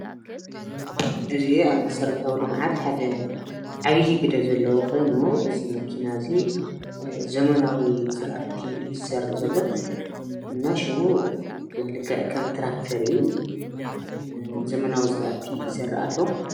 እዚ አብ መሰረታዊ ልምዓት ሓደ ዓብዪ ግደ ዘለዎ ኮይኑ እዚ መኪና እዚ ዘመናዊ ዝራእቲ እዪ ዝዘርእ ዘሎ እና ሽሙ ድማ ልክዕ ከም ትራክተር እዪ። ዘመናዊ ዘራእቲ ይዘርእ ኣሎ።